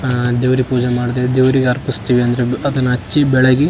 ದೇವ್ರಿಗೆ ಪೂಜೆ ಮಾಡಿ ದೇವ್ರಿಗೆ ಅರ್ಪಿಸ್ತೆವೆ ಅದನ್ನ ಹಚ್ಚಿ ಬೆಳಗಿ --